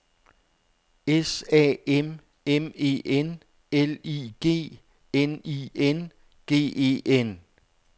S A M M E N L I G N I N G E N